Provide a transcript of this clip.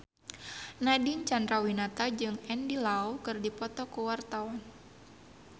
Nadine Chandrawinata jeung Andy Lau keur dipoto ku wartawan